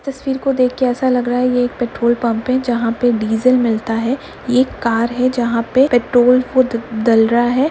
इस तस्वीर को देख कर ऐसा लग रहा है ये एक पेट्रोल पम्प है जहाँ पे डीजल मिलता है। ये एक कार है जहाँ पे पेट्रोल खुद डल रहा है।